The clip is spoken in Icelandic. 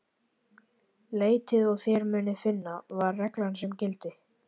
Leitið og þér munuð finna, var reglan sem gilti.